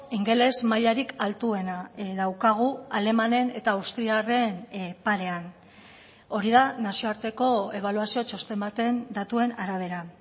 ingeles mailarik altuena daukagu alemanen eta austriarren parean hori da nazioarteko ebaluazio txosten baten datuen arabera